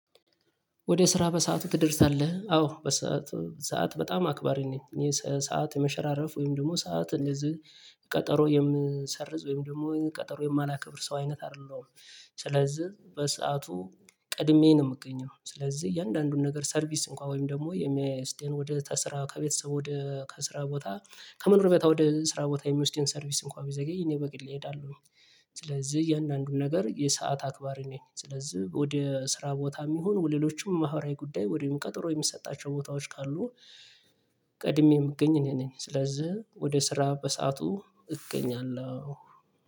ወደ ስራ በሰአቱ ትደርሳለህ? አዎ በሰአቱ ሰዓት በጣም አክባሪ ነኝ እኔ ሰዓት የመሸራረፍ ወይም ደግሞ ሰዓት እንደዚህ ቀጠሮ የምሰርዝ ወይም ደግሞ ቀጠሮ የማላከብር ሰው አይነት አይደለሁም። ስለዚህ በሰአቱ ቀድሜ ነው የምገኘው ስለዚህ እያንዳንዱን ነገር ሰርቪስ እንኳን ወይም ደግሞ የሚወስደን ወደ ስራ ከቤተሰብ ወደ ከስራ ቦታ ከመኖሪያ ቦታ ወደ ስራ ቦታ የሚወስደን ሰርቪስ እንኳን ቢዘገይ እኔ በግሌ እሄዳለሁ። ስለዚህ እያንዳንዱን ነገር የሰዓት አክባር እኔ ስለዚህ ወደ ስራ ቦታም ይሁን ወደሌሎችም ማህበራዊ ጉዳይ ወይም ቀጠሮ የሚሰጣቸው ቦታዎች ካሉ ቀድሜ የምገኝ እኔ ነኝ። ስለዚህ ወደ ስራ በሰአቱ እገኛለሁ።